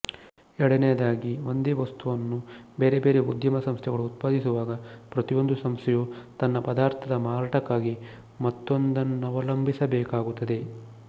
ಎರಡನೆಯದಾಗಿ ಒಂದೇ ವಸ್ತುವನ್ನು ಬೇರೆ ಬೇರೆ ಉದ್ಯಮ ಸಂಸ್ಥೆಗಳು ಉತ್ಪಾದಿಸುವಾಗ ಪ್ರತಿಯೊಂದು ಸಂಸ್ಥೆಯೂ ತನ್ನ ಪದಾರ್ಥದ ಮಾರಾಟಕ್ಕಾಗಿ ಮತ್ತೊಂದನ್ನವಲಂಬಿಸ ಬೇಕಾಗುತ್ತದೆ